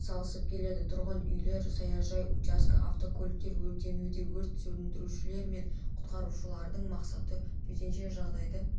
атсалысып келеді тұрғын үйлер саяжай учаске автокөліктер өртенуде өрт сөндірушілер мен құтқарушылардың мақсаты төтенше жағдайды